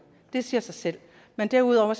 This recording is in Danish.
det siger sig selv men derudover